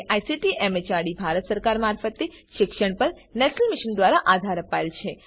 જેને ICT MHRD Bharat સરકાર મારફતે શિક્ષણ પર નેશનલ મિશન દ્વારા આધાર અપાયેલ છે